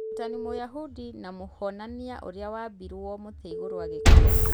Mũrutani mũyahudi namũhonania ũrĩa waambirwo mũtĩ igũrũ agĩkua.